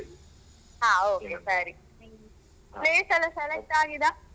ಹಾ ಓಕೆ ಸರಿ place ಎಲ್ಲ ಸೆಲೆಕ್ಟ್ ಆಗಿದಾ.